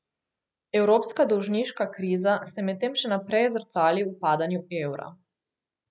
Evropska dolžniška kriza se medtem še naprej zrcali v padanju evra.